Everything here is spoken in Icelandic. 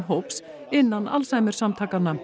hóps innan